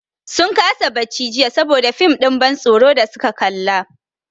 Sun kasa barci jiya saboda fim ɗin ban tsoron da su ka kalla.